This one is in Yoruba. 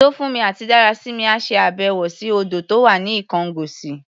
Tófúnmi àti Dárasími á ṣe àbẹ̀wò sí odò tó wà ní Ikongosi.